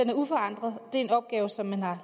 er uforandret det en opgave som man har